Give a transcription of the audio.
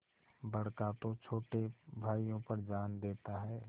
बड़का तो छोटे भाइयों पर जान देता हैं